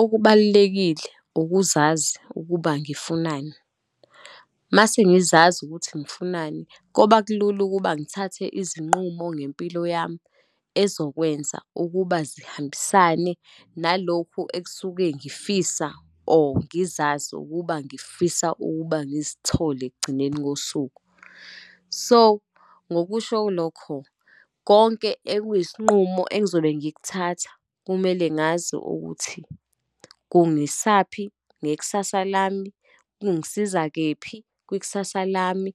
Okubalulekile ukuzazi ukuba ngifunani. Uma sengizazi ukuthi ngifunani koba kulula ukuba ngithathe izinqumo ngempilo yami, ezokwenza ukuba zihambisane nalokhu ekusuke ngifisa or ngizazi ukuba ngifisa ukuba ngizithole ekugcineni kosuku. So, ngokusho kulokho, konke ekuyisinqumo engizobe ngikuthatha kumele ngazi ukuthi kungisaphi ngekusasa lami, kungisiza kephi kwikusasa lami,